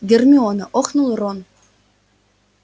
гермиона охнул рон